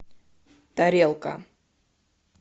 тарелка